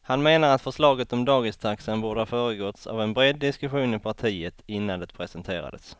Han menar att förslaget om dagistaxan borde ha föregåtts av en bred diskussion i partiet innan det presenterades.